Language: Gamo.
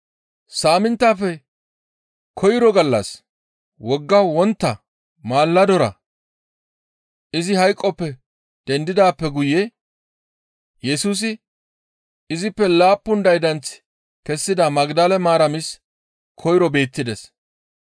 Saaminttafe koyro gallas Wogga wontta maaladora izi hayqoppe dendidaappe guye Yesusi izippe laappun daydanth kessida Magdale Maaramis koyro beettides.